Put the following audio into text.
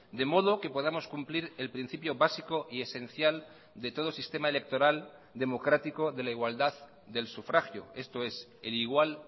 de modo que podamos cumplir el principio básico y esencial de todo sistema electoral democrático de la igualdad del sufragio esto es el igual